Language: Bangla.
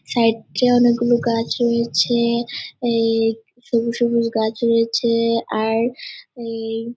সাইড -এ অনেক গুলো গাছ রয়েছে। এ সুবজ সবুজ গাছ রয়েছে- এ। আর এ --